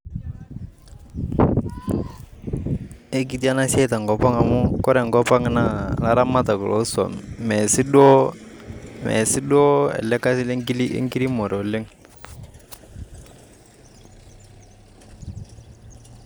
Ekiti enasiai tenkop ang amu kore enkop naa ilaramatak losuam. Mesiduo ele kasi lenkiremore oleng.